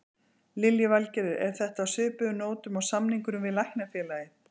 Lillý Valgerður: Er þetta á svipuðum nótum og samningurinn við Læknafélagið?